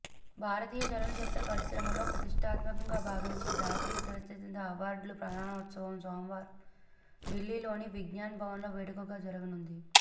భారతీయ చలనచిత్ర పరిశ్రమలో ప్రతిష్ఠాత్మకంగా భావించే జాతీయ చలనచిత్ర అవార్డుల ప్రదానోత్సవం సోమవారం దిల్లీలోని విజ్ఞాన్ భవన్లో వేడుకగా జరగనుంది